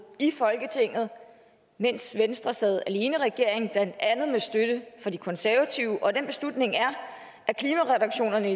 i folketinget mens venstre sad alene i regeringen blandt andet med støtte fra de konservative og den beslutning er at reduktionerne